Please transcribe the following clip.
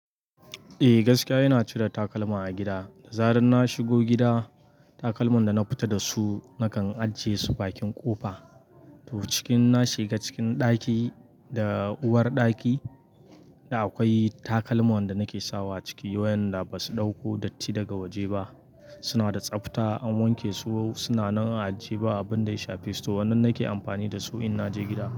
Eh, gaskiya ina cire takalma a gida. Da zaran na shigo gida, takalman da na fita da su nakan ajiye su bakin ƙofa. To, cikin na shiga cikin ɗaki da uwar ɗaki da akwai takalman da nake sawa ciki wayanda ba su ɗauko datti daga waje ba. Suna da tsafta, an wanke su, suna nan a ajiye ba abin da ya sha festo. Waɗannan nake amfani da su in naje gida.